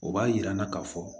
O b'a yira n na k'a fɔ